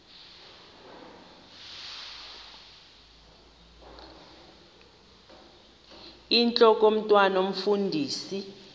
intlok omntwan omfundisi